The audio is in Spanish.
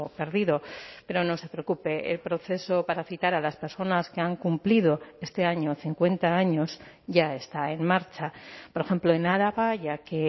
perdido pero no se preocupe el proceso para citar a las personas que han cumplido este año cincuenta años ya está en marcha por ejemplo en araba ya que